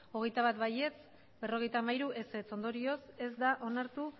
hogeita bat ez berrogeita hamairu ondorioz ez da onartu